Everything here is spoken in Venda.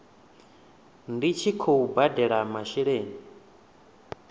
ndi tshi khou badela masheleni